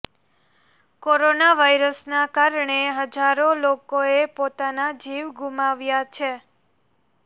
corona વાયરસના કારણે હજારો લોકોએ પોતાના જીવ ગુમાવ્યા છે